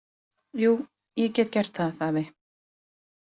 Jú, ég get gert það, afi.